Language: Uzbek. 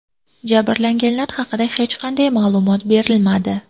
Jabrlanganlar haqida hech qanday ma’lumot berilmadi.